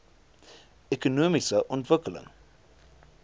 ekonomiese ontwikkeling